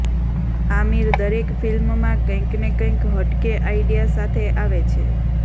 આમિર દરેક ફિલ્મમાં કંઇકને કંઇક હટકે આઇડિયા સાથે આવે છે